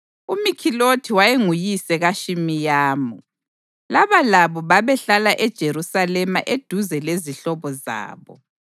UMikhilothi wayenguyise kaShimeyamu. Laba labo babehlala eJerusalema eduze lezihlobo zabo.